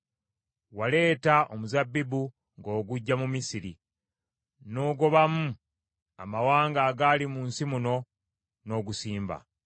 Waleeta omuzabbibu ng’oguggya mu Misiri; n’ogobamu amawanga agaali mu nsi muno n’ogusimba.